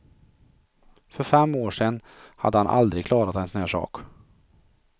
För fem år sedan hade han aldrig klarat en sådan här sak.